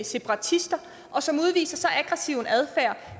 separatister og som udviser så aggressiv en adfærd